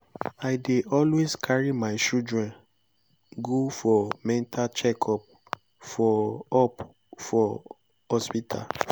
i dey always carry my children go for mental check up for up for hospital